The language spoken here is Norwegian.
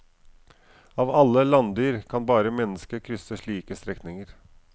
Av alle landdyr kan bare menneskene krysse slike strekninger.